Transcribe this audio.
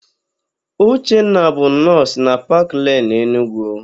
Uchenna bụ nọọsụ na Paklen, Enugwu.